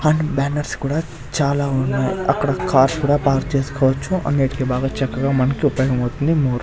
And banners కూడా చాలా ఉన్నాయి అక్కడ కార్స్ కూడా పార్క్ చేసుకోవచ్చు అన్నిటికి బాగా చక్కగా మనకి ఉపయోగమవుతుంది మోర్ .